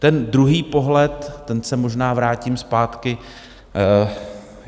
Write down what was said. Ten druhý pohled, tam se možná vrátím zpátky.